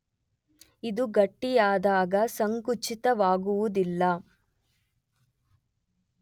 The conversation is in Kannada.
ಇವು ಗಟ್ಟಿಯಾದಾಗ ಸಂಕುಚಿತವಾಗುವುದಿಲ್ಲ.